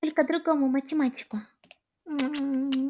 только другому математику